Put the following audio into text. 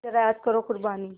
ज़रा याद करो क़ुरबानी